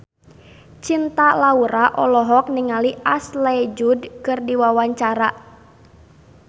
Cinta Laura olohok ningali Ashley Judd keur diwawancara